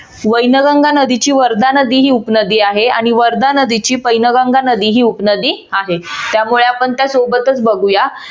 वैनगंगा नदीची वर्धा ही नदी उपनदी आहे आणि वर्धा नदीची पैनगंगा नदी ही उपनदी आहे. त्यामुळे आपण त्यासोबतच बघूया.